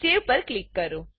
સેવ પર ક્લિક કરો